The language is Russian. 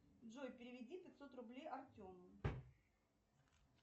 джой переведи пятьсот рублей артему